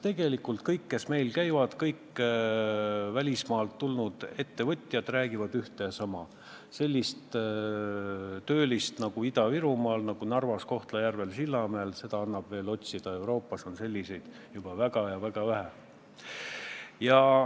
Tegelikult räägivad kõik välismaa ettevõtjad, kes meil käivad, ühte ja sama: sellist töölist nagu Ida-Virumaal, nagu Narvas, Kohtla-Järvel, Sillamäel, annab otsida, Euroopas on selliseid juba väga vähe.